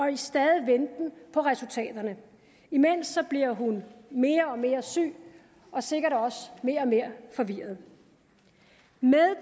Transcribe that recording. en stadig venten på resultaterne imens bliver hun mere og mere syg og sikkert også mere og mere forvirret med